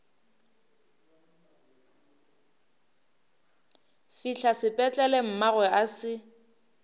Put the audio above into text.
fihla sepetlele mmagwe a se